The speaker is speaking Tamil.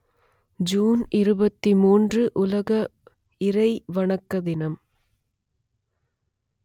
ஜூன் இருபத்தி மூன்று உலக இறை வணக்க தினம்